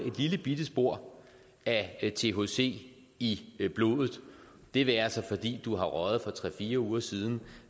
et lille bitte spor af thc i i blodet det være sig fordi du har røget for tre fire uger siden